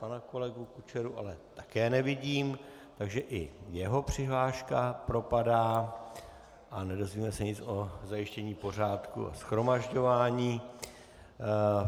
Pana kolegu Kučeru ale také nevidím, takže i jeho přihláška propadá a nedozvíme se nic o zajištění pořádku a shromažďování.